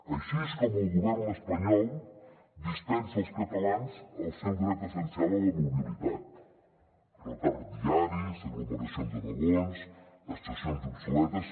així és com el govern espanyol dispensa als catalans el seu dret essencial a la mobilitat retards diaris aglomeracions de vagons estacions obsoletes